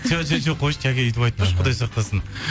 жоқ қойшы жаке өйтіп айтпашы құдай сақтасын